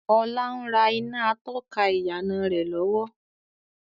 Ọlá ń rà iná atọ́ka ìyànà rẹ lọ́wọ́